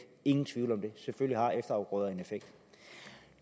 ingen tvivl om det selvfølgelig har efterafgrøder en effekt